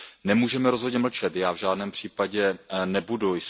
Nemůžeme rozhodně mlčet, já v žádném případě nebudu.